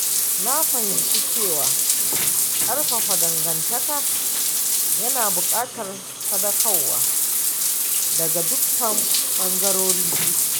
Na fahimci cewa ƙarfafa dangantaka yana buƙatar sadaukarwa daga dukkan ɓangarori biyun.